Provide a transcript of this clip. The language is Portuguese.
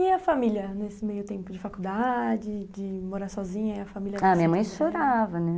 E a família, nesse meio tempo de faculdade, de morar sozinha, a família... Ah, minha mãe chorava, né?